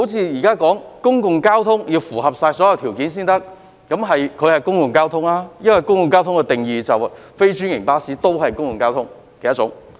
現在說公共交通必須符合所有條件才可以參加有關計劃，而邨巴是公共交通，因為按公共交通的定義，非專營巴士都是公共交通的一種。